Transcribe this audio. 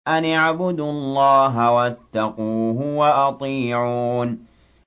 أَنِ اعْبُدُوا اللَّهَ وَاتَّقُوهُ وَأَطِيعُونِ